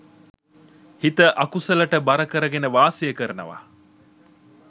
හිත අකුසලට බර කරගෙන වාසය කරනවා.